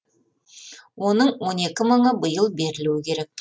оның он екі мыңы биыл берілуі керек